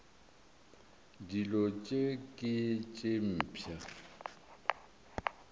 dilo tše ke tše mpsha